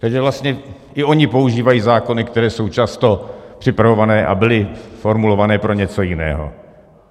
Takže vlastně i ony používají zákony, které jsou často připravované a byly formulované pro něco jiného.